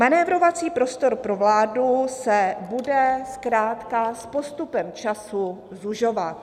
Manévrovací prostor pro vládu se bude zkrátka s postupem času zužovat.